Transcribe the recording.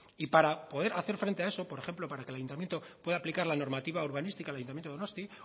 y para poder hacer frente a eso por ejemplo para que el ayuntamiento pueda aplicar la normativa urbanística el ayuntamiento de donostia